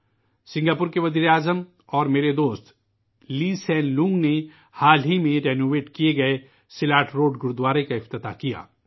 Singapore کے وزیر اعظم اور میرے دوست لی شین لونگ نے حال ہی میں تجدید شدہ سیلت روڈ گورودوارے کا افتتاح کیا